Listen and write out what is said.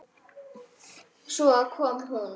Svo kom hún.